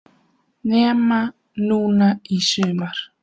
Nema núna í sumar.